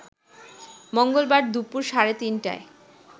মঙ্গলবার দুপুর সাড়ে তিনটায়